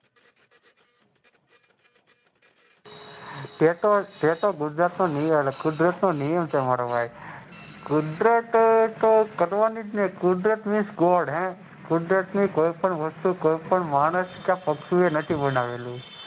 તેતો ગુજરાત નો નિયમ છે મારા ભાઈ કુદરત નો નિયમ છે તો પણ કુદરત ની મોં કુદરત કોઈ પણ વસ્તુ કોઈ પણ માણસ પક્ષીઓ નથી બનાવેલું.